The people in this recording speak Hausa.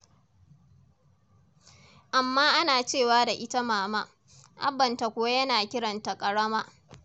Amma ana cewa da ita Mama, Abbanta kuwa yana kiran ta "Ƙarama".